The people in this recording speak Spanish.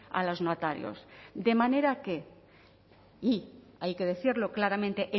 a los notarios de manera que y hay que decirlo claramente